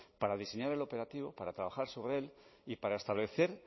para diseñar el operativo para trabajar sobre él y para establecer